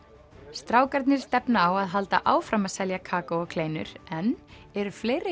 strákarnir stefna á að halda áfram að selja kakó og kleinur en eru fleiri